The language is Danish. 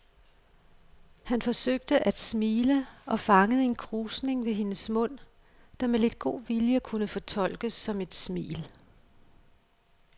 Han forsøgte at smile og fangede en krusning ved hendes mund, der med lidt god vilje kunne fortolkes som et smil.